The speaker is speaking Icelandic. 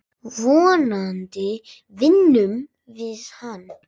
Vonandi vinnum við hann.